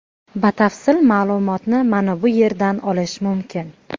Batafsil ma’lumotni mana bu yer dan olish mumkin.